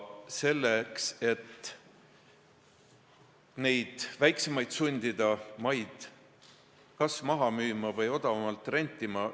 See nõue sundis väiksemaid oma maid kas maha müüma või odavamalt rentima.